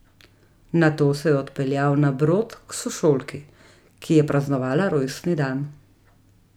Nato se je odpeljal na Brod k sošolki, ki je praznovala rojstni dan.